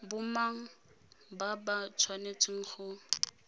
bomang ba ba tshwanetseng go